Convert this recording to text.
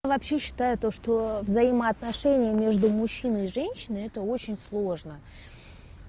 вообще считаю то что взаимоотношения между мужчиной и женщиной это очень сложно